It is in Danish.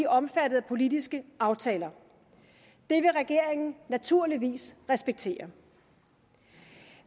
omfattet af politiske aftaler det vil regeringen naturligvis respektere